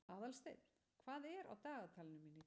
Aðalsteinn, hvað er á dagatalinu mínu í dag?